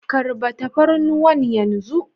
Kar ba tafarnuwan yan zu.